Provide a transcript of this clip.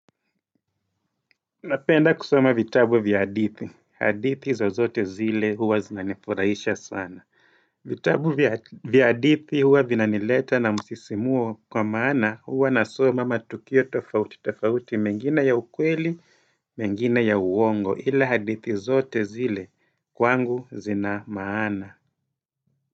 Napenda kusoma vitabu vya hadithi. Hadithi zozote zile huwa zinanifurahisha sana. Vitabu vya hadithi huwa vinanileta na msisimuo kwa maana huwa nasoma matukio tofauti tofauti mengine ya ukweli, menginr ya uongo ila hadithi zote zile kwangu zina maana.